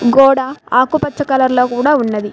గోడ ఆకుపచ్చ కలర్ లో కూడా ఉన్నది.